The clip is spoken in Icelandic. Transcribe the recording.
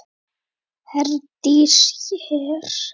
Herdís hér.